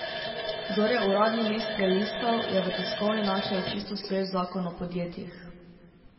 Kdor je uradni list prelistal, je v tiskovini našel čisto svež zakon o podjetjih.